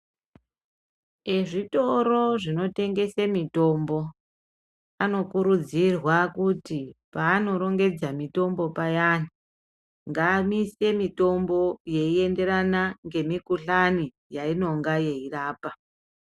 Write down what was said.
Ezvitoro zvino tengese mitombo ano kuridzirwa kuti pa ano rongedza mitombo payani ngaamise mitombo yeenderana ngemi kuhlani yainonga yeirapa.